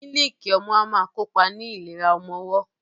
Mílíìkì ọmú a máa kópa ní ìlera ọmọwọ́.